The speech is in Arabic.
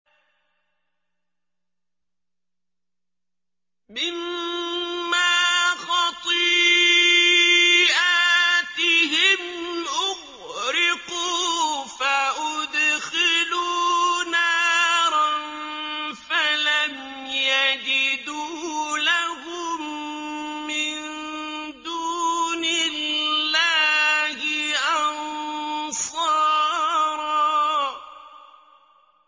مِّمَّا خَطِيئَاتِهِمْ أُغْرِقُوا فَأُدْخِلُوا نَارًا فَلَمْ يَجِدُوا لَهُم مِّن دُونِ اللَّهِ أَنصَارًا